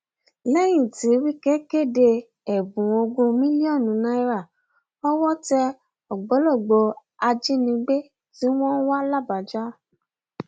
lẹyìn tí wike kéde ẹbùn ogún mílíọnù náírà owó tẹ ògbólógbòó ajínigbé tí wọn ń wá làbàjá